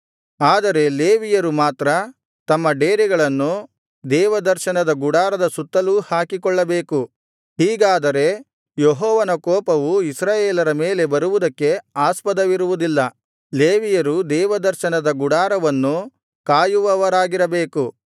ಆದರೆ ಲೇವಿಯರು ಮಾತ್ರ ತಮ್ಮ ಡೇರೆಗಳನ್ನು ದೇವದರ್ಶನದ ಗುಡಾರದ ಸುತ್ತಲೂ ಹಾಕಿಕೊಳ್ಳಬೇಕು ಹೀಗಾದರೆ ಯೆಹೋವನ ಕೋಪವು ಇಸ್ರಾಯೇಲರ ಮೇಲೆ ಬರುವುದಕ್ಕೆ ಆಸ್ಪದವಿರುವುದಿಲ್ಲ ಲೇವಿಯರು ದೇವದರ್ಶನದ ಗುಡಾರವನ್ನು ಕಾಯುವವರಾಗಿರಬೇಕು